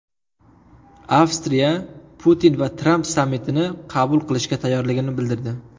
Avstriya Putin va Tramp sammitini qabul qilishga tayyorligini bildirdi.